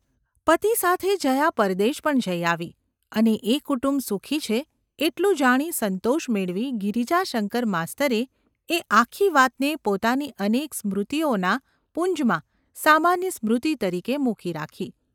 પતિ સાથે જયા પરદેશ પણ જઈ આવી અને એ કુટુંબ સુખી છે એટલું જાણી સંતોષ મેળવી ગિરિજાશંકર માસ્તરે એ આખી વાતને પોતાની અનેક સ્મૃતિએના પુંજમાં સામાન્ય સ્મૃતિ તરીકે મૂકી રાખી.